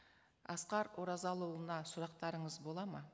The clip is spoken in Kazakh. асқар оразалыұлына сұрақтарыңыз болады ма